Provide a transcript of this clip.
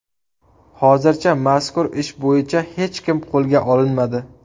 Hozircha mazkur ish bo‘yicha hech kim qo‘lga olinmadi.